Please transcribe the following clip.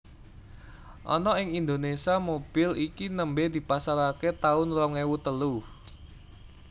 Ana ing Indonésia mobil iki nembe dipasarake taun rong ewu telu